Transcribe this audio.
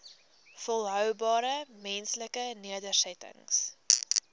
volhoubare menslike nedersettings